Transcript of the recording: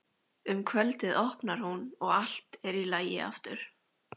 Um kvöldið opnar hún og allt er í lagi aftur.